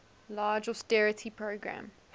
large austerity program